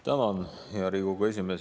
Tänan, hea Riigikogu esimees!